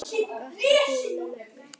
Gott að búa með Möggu.